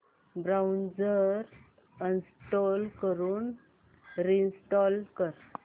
browser uninstall करून reinstall कर